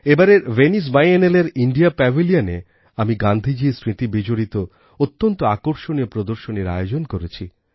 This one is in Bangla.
এবারের ভেনিস বাইএনেলেরIndia Pavilionএ আমি গান্ধিজীর স্মৃতি বিজড়িত অত্যন্ত আকর্ষণীয় প্রদর্শনীর আয়োজন করেছি